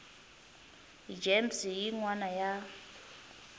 gems hi yin wana ya